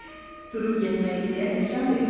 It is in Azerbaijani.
Durub getmək istəyən siçan dedi.